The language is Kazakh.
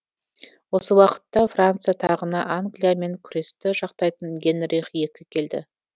осы уақытта франция тағына англиямен күресті жақтайтын генрих екі келді